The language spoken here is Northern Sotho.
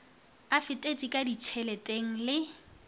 a fetetše ka ditšheleteng le